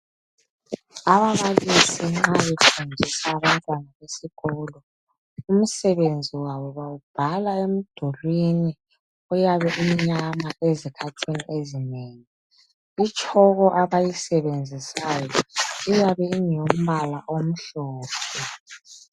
Ababalisi nxa befundisa abantwana besikolo .Umsebenzi wabo bawubhala emdulini uyabe umnyama ezikhathini ezinengi .Itshoko abayisebenzisayo iyabe ingeyombala omhlophe.